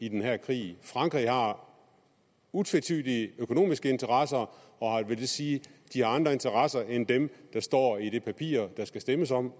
i den her krig frankrig har utvetydige økonomiske interesser og det vil sige at de har andre interesser end dem der står i det papir der skal stemmes om